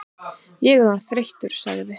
Ég er orðinn þreyttur sagði